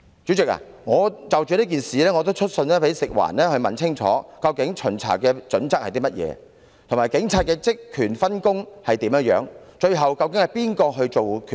主席，我亦曾就此事去信食環署，詢問巡查準則究竟為何，以及該署與警方的職權分工為何，究竟由那一方作最後決定？